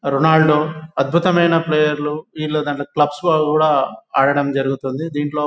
Ronald అద్భుతమైన ప్లేయర్లు వీళ్లది క్లబ్స్ లో కూడా ఆడడం జరుగుతుంది. దీంట్లో--